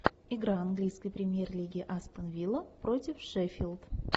игра английской премьер лиги астон вилла против шеффилд